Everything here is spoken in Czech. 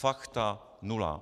Fakta - nula!